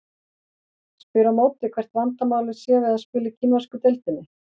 Ég spyr á móti hvert vandamálið sé við að spila í kínversku deildinni?